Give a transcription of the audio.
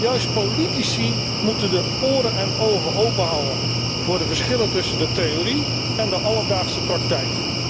Juist politici moeten de oren en ogen openhouden voor de verschillen tussen de theorie en de alledaagse praktijk.